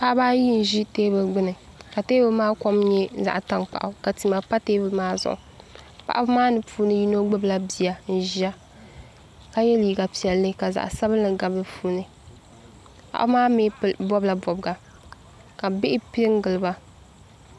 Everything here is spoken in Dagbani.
paɣaba ayi n ʒi teebuli gbuni ka teebuli maa kom nyɛ zaɣ tankpaɣu ka tima pa teebuli maa zuɣu paɣaba maa ni puuni yino gbubila bia n ʒiya ka yɛ liiga piɛlli ka zaɣ sabinli gabi di puuni paɣaba maa mii bobila bobga ka bihi piɛ n giliba